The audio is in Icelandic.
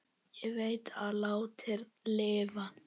Ég veit að látnir lifa.